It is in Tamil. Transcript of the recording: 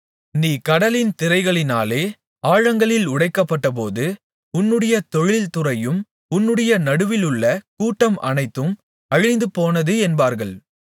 நீ கடலின் திரைகளினாலே ஆழங்களில் உடைக்கப்பட்டபோது உன்னுடைய தொழில் துறையும் உன்னுடைய நடுவிலுள்ள கூட்டம் அனைத்தும் அழிந்துபோனது என்பார்கள்